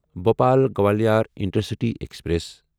Bhopal Gwalior intercity express